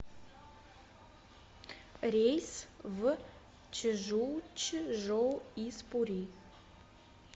рейс в чжучжоу из пури